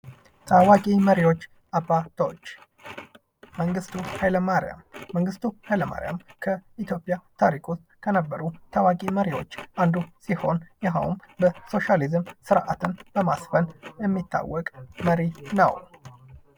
ታዊቂ መሪዎች አባቶች መንግስቱ ኃይለ ማርያም:- መንግስቱ ኃይለ ማርያም ከኢትዮጵያ ታሪክ ዉስጥ ከነበሩ ታዋቂ መሪዎች አንዱ ሲሆን ይኸዉም የሶሻሊዝም ስርዓትን በማስፈን የሚታወቅ መሪ ነዉ።